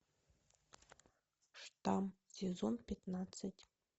штамм сезон пятнадцать